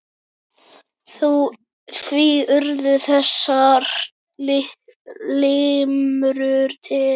Því urðu þessar limrur til.